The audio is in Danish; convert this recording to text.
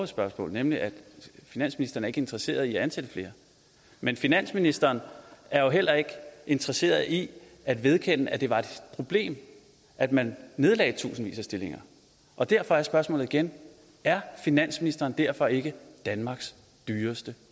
spørgsmål nemlig at finansministeren ikke er interesseret i at ansætte flere men finansministeren er jo heller ikke interesseret i at vedkende at det var et problem at man nedlagde tusindvis af stillinger og derfor er spørgsmålet igen er finansministeren derfor ikke danmarks dyreste